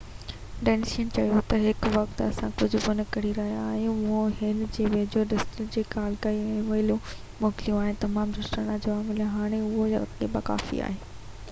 Denis چيو ته هن وقت اسان ڪجهه به نه ڪري رهيا آهيون مون هُن جي ويجهي دستگير کي ڪال ڪئي ۽ اي ميلون موڪليون آهن ۽ تمام دوستاڻا جواب مليو هاڻي لاءِ اهو يقيناً ڪافي آهي